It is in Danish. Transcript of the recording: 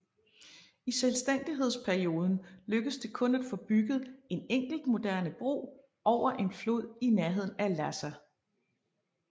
I selvstændighedsperioden lykkedes det kun at få bygget en enkelt moderne bro over en flod i nærheden af Lhassa